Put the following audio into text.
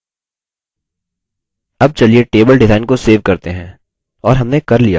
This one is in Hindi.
अब table design को सेव करते हैं और हमने कर लिया